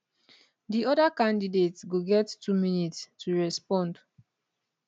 di oda candidate go get two minutes to respond